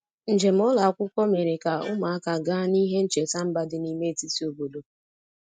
Njem ụlọ akwụkwọ mere ka ụmụaka gaa n'ihe ncheta mba dị n'ime etiti obodo.